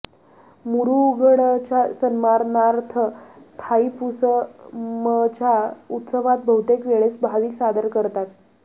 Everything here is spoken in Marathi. मुरुगनच्या सन्मानार्थ थाईपुसमच्या उत्सवात बहुतेक वेळेस भाविक सादर करतात